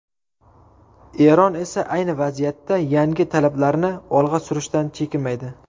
Eron esa ayni vaziyatda yangi talablarni olg‘a surishdan chekinmaydi.